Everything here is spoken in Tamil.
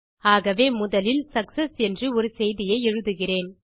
ஆகவே முதலில் சக்செஸ் என்று ஒரு செய்தியை எழுதுகிறேன்